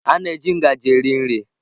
A na-eji ngaji eri nri.